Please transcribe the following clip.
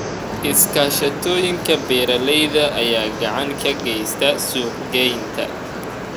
Iskaashatooyinka beeralayda ayaa gacan ka geysta suuqgeynta.